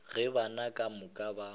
ge bana ka moka ba